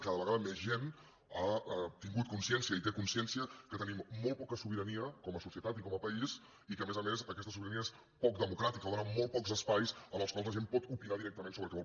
cada vegada més gent ha tingut consciència i té consciència que tenim molt poca sobirania com a societat i com a país i que a més a més aquesta sobirania és poc democràtica o dóna molt pocs espais en els quals la gent pot opinar directament sobre el que vol